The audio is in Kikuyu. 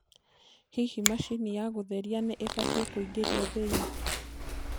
hĩhĩ machĩnĩ ya gutherĩa nĩ ibatie kuingirio thĩĩni